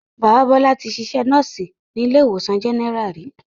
Bàbá Bọ́lá tí sisẹ́ Núùsì ní ilé ìwòsàn General ri